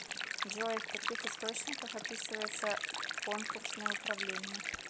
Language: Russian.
джой в каких источниках описывается конкурсное управление